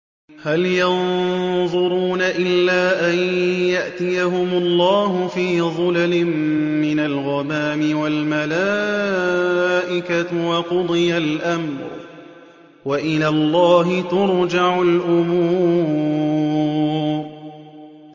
هَلْ يَنظُرُونَ إِلَّا أَن يَأْتِيَهُمُ اللَّهُ فِي ظُلَلٍ مِّنَ الْغَمَامِ وَالْمَلَائِكَةُ وَقُضِيَ الْأَمْرُ ۚ وَإِلَى اللَّهِ تُرْجَعُ الْأُمُورُ